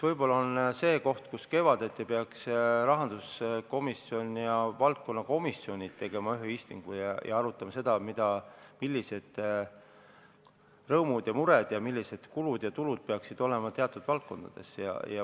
Võib-olla peaksid rahanduskomisjon ja valdkonnakomisjonid tegema kevaditi ühe istungi ja arutama seda, millised on rõõmud-mured ja millised peaksid olema kulud-tulud teatud valdkondades.